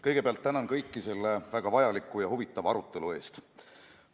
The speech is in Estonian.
Kõigepealt tänan kõiki selle väga vajaliku ja huvitava arutelu eest!